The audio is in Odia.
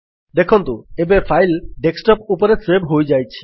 ଦେଖନ୍ତୁ ଏବେ ଫାଇଲ୍ ଡେସ୍କଟପ୍ ଉପରେ ସେଭ୍ ହୋଇଯାଇଛି